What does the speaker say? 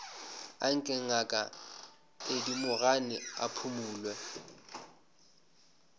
anke ngaka thedimogane a phumole